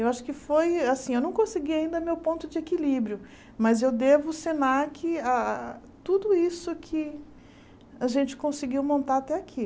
Eu acho que foi assim, eu não consegui ainda meu ponto de equilíbrio, mas eu devo o Senac a tudo isso que a gente conseguiu montar até aqui